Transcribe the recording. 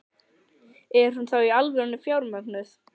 Er hún þá í alvörunni fjármögnuð?